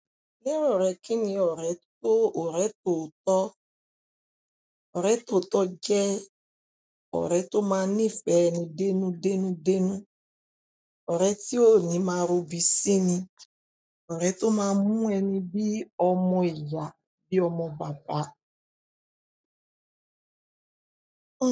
Ni ọ̀rẹ́ rẹ kíni ọrẹ tòótọ? Ọrẹ tòótọ jẹ ọrẹ to máa nifẹ ẹni dénú dénú dénú, ọrẹ ti o ni maa robi sini, ọrẹ tó maa mu ẹni bíi ọmọ ìyá bíi ọmọ bàbá.